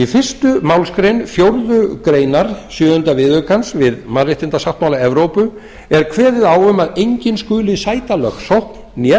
í fyrstu málsgrein fjórðu grein sjöunda viðaukans við mannréttindasáttmála evrópu er kveðið á um að enginn skuli sæta lögsókn né